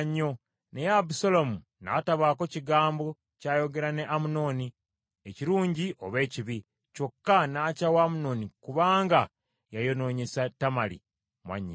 Naye Abusaalomu n’atabaako kigambo ky’ayogera ne Amunoni, ekirungi oba ekibi, kyokka n’akyawa Amunoni kubanga yayonoonyesa Tamali mwannyina.